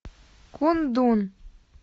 кундун